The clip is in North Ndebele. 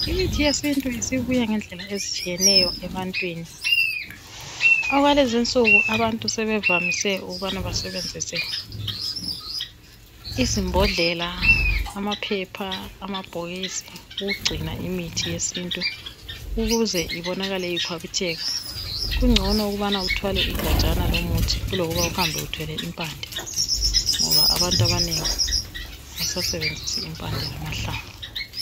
Imithi yesintu isibuye ngendlela ezitshiyeneyo ebantwini okwalezinsuku abantu sebevamise ukubana basebenzise izimbodlela amaphepha amabhokisi ukugcina imithi yesintu ukuze ibonakale ikhwabitheka , kungcono ukubana uthwale igajana lomuthi kulokuba uhambe uthwele impande ngoba abantu abanengi abasasebenzisa impande lamahlamvu .